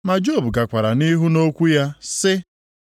Ma Job gakwara nʼihu nʼokwu ya sị: